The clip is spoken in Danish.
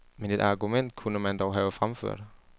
Men et argument kunne man dog have fremført.